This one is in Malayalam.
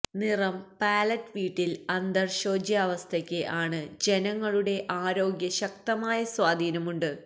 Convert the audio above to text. നിറം പാലറ്റ് വീട്ടിൽ അന്തർ ശോച്യാവസ്ഥയ്ക്ക് ആണ് ജനങ്ങളുടെ ആരോഗ്യ ശക്തമായ സ്വാധീനം ഉണ്ട്